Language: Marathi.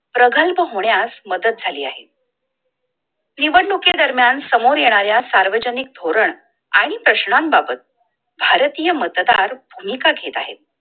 प्रगल्प होण्यास मदत झाली आहे निवडणुकी दरम्यान समोर येणाऱ्या सार्वजनिक धोरण आणि प्रश्नांन बाबत भारतीय मतदार भूमिका घेत आहे